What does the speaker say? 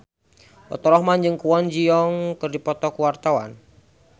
Faturrahman jeung Kwon Ji Yong keur dipoto ku wartawan